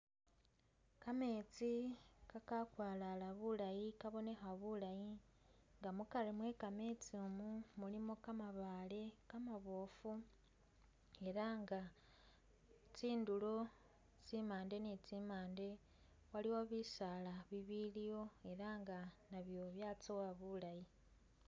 Kameetsi ka kakwalala bulaayi kabonekha bulayi nga mukari mwe kametsimu mulimo kamabaale kamaboofu ela nga tsindulo tsimande ni tsimande waliwo bisaala bibiliwo ela nga nabyo byatsowa bulayi.